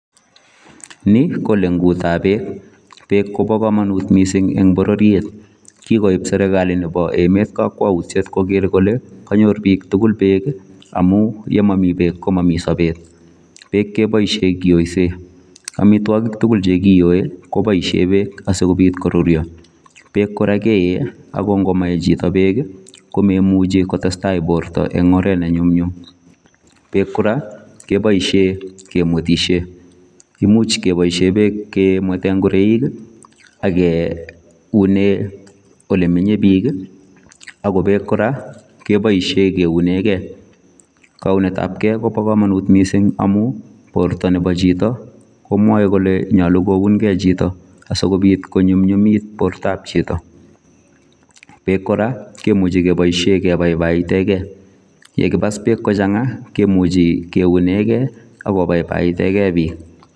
Nii, ko leng'ut an peek. Peek kobo komonut mising en bororiet. Kikoip serikalit nebo emet kokwout koker kole konyor piik tugul peek. Amun yemomi peek komomi sobet. Peek keboisien kiyoisen. Amitwogik tuguk chekiyoe, koboisien peek asikopiit koruryo. Peek kora keyee ago ng'o ngomaye chito kora peek komaimuch kotesta borta en ongeret nenyumnyum. Peek kora keboisien kemwetisien, imuch keboisien peek kemweten ng'oroik, akeunen olemenye piik, Ako peek kora, keboisien keuneen Kee. Kounet ab kee kobo komonut mising amun borto nebo chito komwoe kole, nyolu kounkee chito. Asikopiit konyumnyumit bortab chito. Peek kora kemuche keboisien kebaibaitenge. Yekipas beek kochang'a, kemuchi keunege, akobaibaiteng'e piik.